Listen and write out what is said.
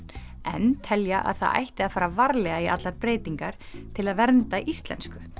en telja að það ætti að fara varlega í allar breytingar til að vernda íslensku